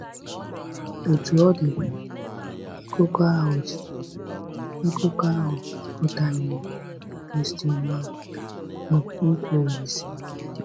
Otú ọ dị, Akụkọ ahụ dị, Akụkọ ahụ akọtaghị ihe bụ́ nkwa Olise.